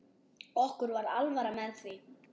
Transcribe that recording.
Okkur var alvara með því.